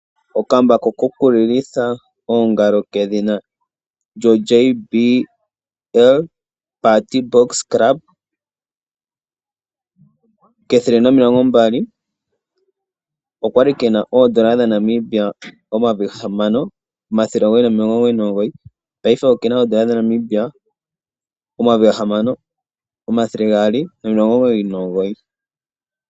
Okambako ko ku lilitha oongalo kedhina GBL Partybox club 120 oka li ke na N$ 6999, ihe paife oke na N$ 6 299.